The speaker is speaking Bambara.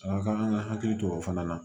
A ka kan an ka hakili to o fana na